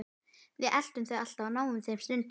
Við eltum þau alltaf og náðum þeim stundum.